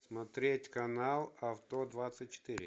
смотреть канал авто двадцать четыре